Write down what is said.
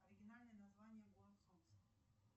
оригинальное название город солнца